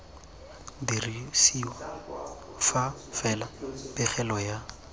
dirisiwa fa fela pegelo ya